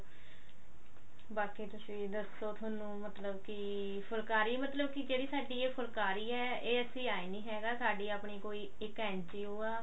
ਬਾਕੀ ਤੁਸੀਂ ਦੱਸੋ ਥੋਨੂੰ ਮਤਲਬ ਕੀ ਫੁਲਾਕਰੀ ਮਤਲਬ ਕੀ ਕਿਹੜੀ ਹੈ ਫੁਲਕਾਰੀ ਹੈ ਇਹ ਅਸੀਂ ਏ ਨੀ ਹੈਗਾ ਸਾਡੀ ਆਪਣੀ ਕੋਈ ਇੱਕ NGO